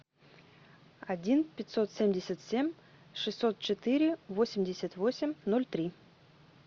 один пятьсот семьдесят семь шестьсот четыре восемьдесят восемь ноль три